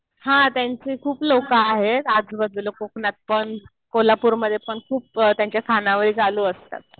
हा. त्यांचे खूप लोकं आहेत. आजूबाजूला कोकणात पण. कोल्हापूरमध्ये पण खूप त्यांच्या खानावळी चालू असतात.